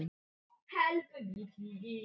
Þar brást kerfið.